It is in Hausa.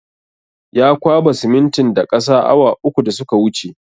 Ya kwaba siminitin da ƙasa awa uku da suka wuce